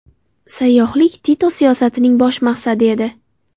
Sayyohlik Tito siyosatining bosh maqsadi edi.